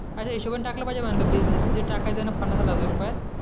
अशा हिशोबाने टाकलं पाहिजे म्हटलं बिझनेस जे टाकायचं आहे ना पन्नास साठ हजार रुपयांत